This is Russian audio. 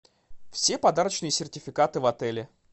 все подарочные сертификаты в отеле